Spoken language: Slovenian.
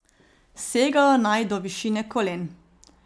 Segajo naj do višine kolen.